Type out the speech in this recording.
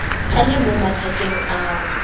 a lemong ya mathateng ao